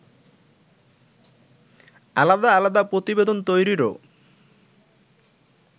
আলাদা আলাদা প্রতিবেদন তৈরিরও